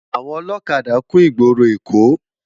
Awòn òlòkádá kún igbóró Ekó